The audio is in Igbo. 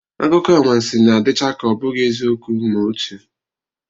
Akụkọanwansị na-adịcha ka ọ bụghị eziokwu ma otu